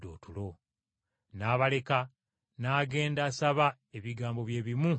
N’abaleka n’agenda asaba ebigambo bye bimu nga biri.